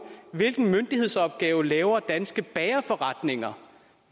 hvilken myndighedsopgave leverer danske bagerforretninger